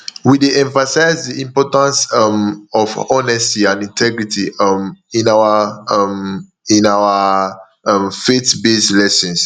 we dey emphasize the importance um of honesty and integrity um in our um in our um faithbased lessons